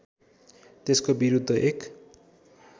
त्यसको विरुद्ध एक